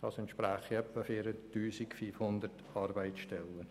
Das entspräche in der Relation etwa 4500 Arbeitsstellen.